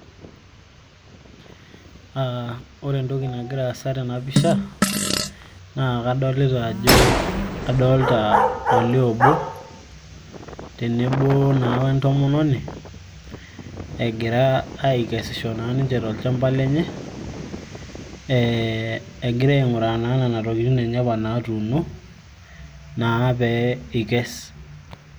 Ah ore entoki nagira aasa tena pisha, naa kadolita ajo, kadolta olee obo, tenebo naa wentomononi, egira aikesisho na ninche tolchamba lenye, eh egira aing'uraa naa nena tokiting' enye apa natuuno, naa pee ikes.